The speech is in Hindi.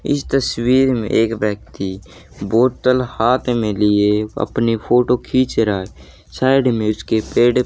इस तस्वीर में एक व्यक्ति बोतल हाथ में लिए अपनी फोटो खींच रहा है साइड में उसके पेड़--